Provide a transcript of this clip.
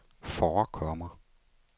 forekommer